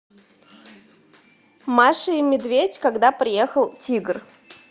маша и медведь когда приехал тигр